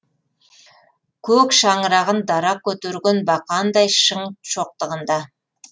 көк шаңырағын дара көтерген бақандай шың шоқтығында